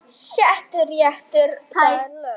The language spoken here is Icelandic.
Settur réttur, það er lög.